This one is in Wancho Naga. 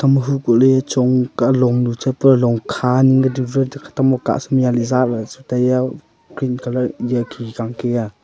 ma hu koh le chong ka long nu cha pura long kha ning ka khatam hokar sa ma yalI zala le chu taI a green colour khikhI ka Kia.